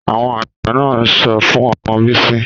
Àwọn àgbà náà súre fún ọmọ bísí